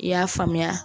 I y'a faamuya